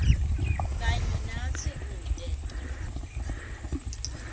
kanye natsi kute